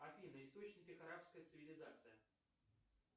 афина источники арабская цивлизация